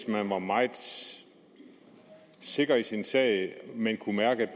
man var meget sikker i sin sag og kunne mærke